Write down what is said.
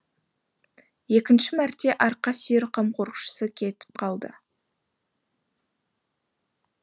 екінші мәрте арқа сүйер қамқоршысы кетіп қалды